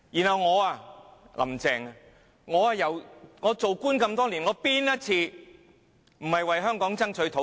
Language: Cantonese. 她之後反問為官多年，有哪一次沒有為香港爭取土地？